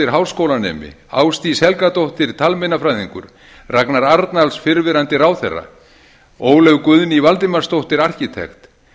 háskólanemi ásdís helgadóttir talmeinafræðingur ragnar arnalds fyrrverandi ráðherra ólöf guðný valdimarsdóttir arkitekt